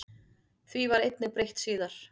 Því var einnig breytt síðar.